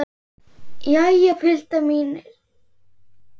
Jæja, piltar mínir!